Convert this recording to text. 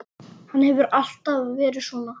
Hann hefur alltaf verið svona.